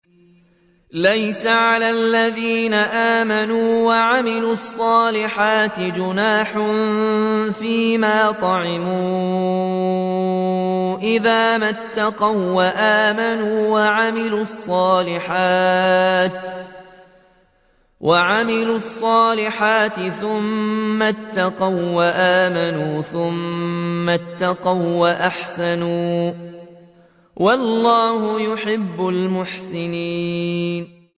لَيْسَ عَلَى الَّذِينَ آمَنُوا وَعَمِلُوا الصَّالِحَاتِ جُنَاحٌ فِيمَا طَعِمُوا إِذَا مَا اتَّقَوا وَّآمَنُوا وَعَمِلُوا الصَّالِحَاتِ ثُمَّ اتَّقَوا وَّآمَنُوا ثُمَّ اتَّقَوا وَّأَحْسَنُوا ۗ وَاللَّهُ يُحِبُّ الْمُحْسِنِينَ